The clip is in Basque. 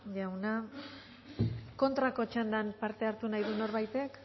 jauna kontrako txandan parte hartu nahi du norbaitek